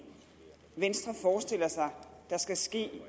venstre forestiller sig at der skal ske